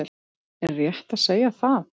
Er rétt að segja það?